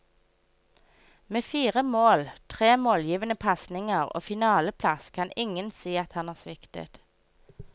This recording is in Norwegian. Med fire mål, tre målgivende pasninger og finaleplass kan ingen si at han sviktet.